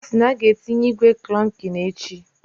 Osi na aga etinye igwe klokin echi